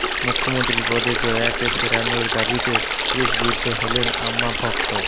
মুখ্যমন্ত্রী পদে জয়াকে ফেরানোর দাবিতে ক্রশবিদ্ধ হলেন আম্মা ভক্ত